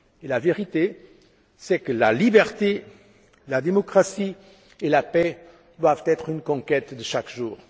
La vérité est que la liberté, la démocratie et la paix doivent être une conquête de chaque jour.